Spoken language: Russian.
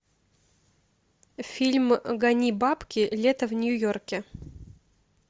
фильм гони бабки лето в нью йорке